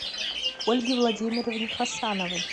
ольге владимировне хасановой